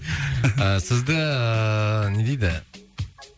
сізді ыыы не дейді